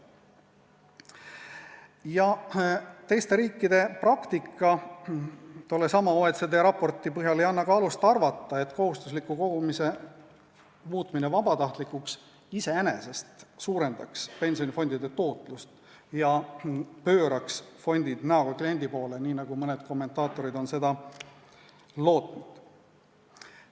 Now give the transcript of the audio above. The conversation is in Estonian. Samuti ei anna teiste riikide praktika tollesama OECD raporti põhjal alust arvata, et kohustusliku kogumise muutmine vabatahtlikuks iseenesest suurendaks pensionifondide tootlust ja pööraks fondid näoga kliendi poole, nii nagu mõned kommentaatorid on lootnud.